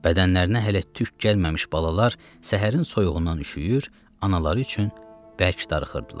Bədənlərinə hələ tük gəlməmiş balalar səhərin soyuğundan üşüyür, anaları üçün bərk darıxırdılar.